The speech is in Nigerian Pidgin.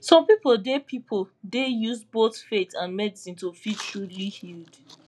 some people dey people dey use both faith and medicine to feel truly healed